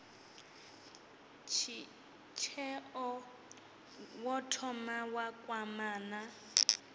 tsheo wo thoma wa kwamana